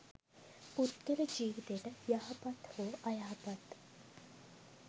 පුද්ගල ජීවිතයට යහපත් හෝ අයහපත්